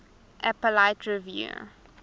appellate review